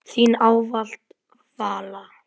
Þín ávallt, Vala.